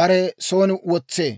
bare son wotsee.